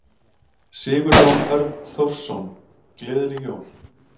Sigurjón Örn Þórsson: Gleðileg jól.